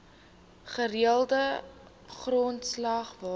gereelde grondslag water